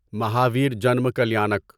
Mahavir Janma Kalyanak